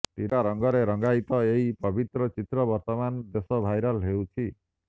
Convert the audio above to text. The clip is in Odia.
ତ୍ରିରଙ୍ଗା ର୍ଗରେ ରଙ୍ଗାୟିତ ଏହି ପର୍ବତର ଚିତ୍ର ବର୍ତ୍ତମାନ ବେଶ ଭାଇରାଲ ହେଉଛି